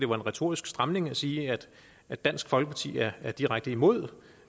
var en retorisk stramning at sige at dansk folkeparti er er direkte imod